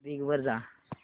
Bing वर जा